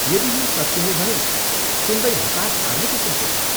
यदि यो सत्य हो भने, सुन्दै हतास पार्ने किसिमको छ।